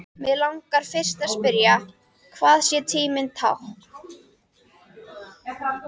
Mig langar fyrst að spyrja, hvað sé tímanna tákn.